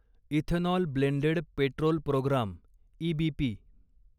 ethanol blended petrol programme EBP